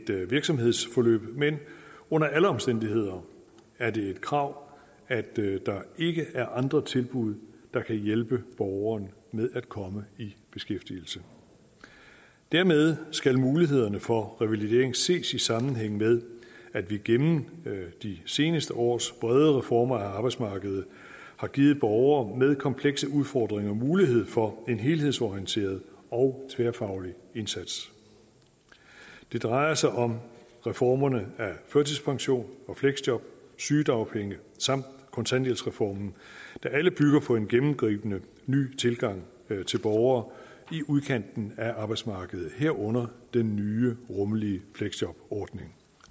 virksomhedsforløb men under alle omstændigheder er det et krav at der ikke er andre tilbud der kan hjælpe borgeren med at komme i beskæftigelse dermed skal mulighederne for revalidering ses i sammenhæng med at vi gennem de seneste års brede reformer af arbejdsmarkedet har givet borgere med komplekse udfordringer mulighed for en helhedsorienteret og tværfaglig indsats det drejer sig om reformerne af førtidspension fleksjob og sygedagpenge samt kontanthjælpsreformen der alle bygger på en gennemgribende ny tilgang til borgere i udkanten af arbejdsmarkedet herunder den nye rummelige fleksjobordning